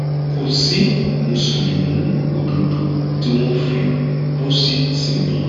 kò sí mùsùlùmí òdodo tí wọn fi pósí sìn rí